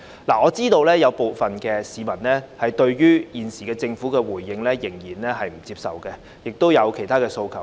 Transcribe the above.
我知道有部分市民仍不接受政府現時的回應，亦有其他訴求。